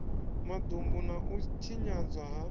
madumbu na u tshinyadzwa ha